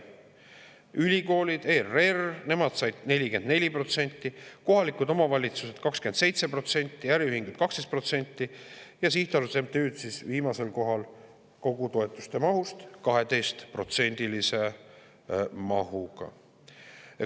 Ülikoolid, ERR – nemad said 44%, kohalikud omavalitsused said 27%, äriühinguid 12% ning sihtasutused ja MTÜ-d on viimasel kohal kogu toetuste mahust 12%-lise mahuga.